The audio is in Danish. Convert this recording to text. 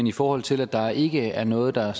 i forhold til at der ikke er noget der